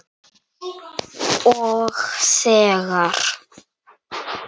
Og þegar